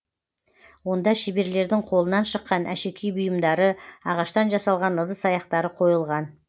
онда шеберлердің қолынан шыққан әшекей бұйымдары ағаштан жасалған ыдыс аяқтары қойылған